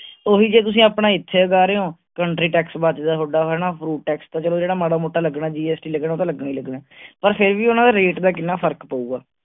ਓਹੀ ਜਿਹ ਤੁਸੀਂ ਆਪਣਾ ਇਥੇ ਲਗਾ ਰਹੇ ਹੋ country tax ਬਚਦਾ ਹੈ ਥੋਡਾ ਹਣਾ fruit tax ਤਾਂ ਚਲੋ ਜਿਹੜਾ ਮਾੜਾ ਮੋਟਾ ਲੱਗਣਾ GST ਲੱਗਣਾ ਉਹ ਤਾਂ ਲੱਗਣਾ ਹੀ ਲਗਣਾ ਪਰ ਫਿਰ ਭੀ ਉਨ੍ਹਾਂਦਾ rate ਦਾ ਕਿੰਨਾ ਫਰਕ ਪਊਗਾ